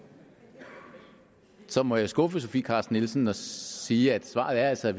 så må jeg skuffe fru sofie carsten nielsen og sige at svaret altså er